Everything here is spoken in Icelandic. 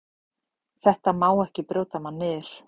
Þetta má ekki brjóta mann niður.